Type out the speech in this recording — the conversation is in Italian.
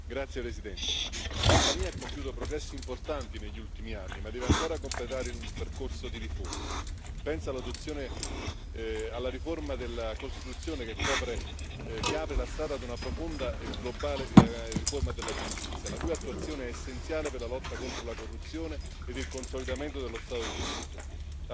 Signora Presidente, onorevoli colleghi, l'Albania ha compiuto progressi importanti negli ultimi anni, ma deve ancora completare un percorso di riforme. Penso all'adozione e alla riforma della Costituzione, che apre la strada ad una profonda e globale riforma della giustizia, la cui attuazione è essenziale per la lotta contro la corruzione e il consolidamento dello Stato di diritto.